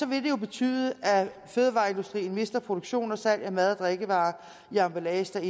vil det jo betyde at fødevareindustrien mister produktion og salg af mad og drikkevarer i emballage der